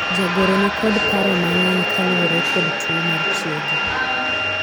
jagoro nikod paro mang'eny kaluwore kod tuo mar chiegi